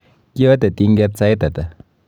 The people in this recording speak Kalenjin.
Kiyatr tinget sait ata?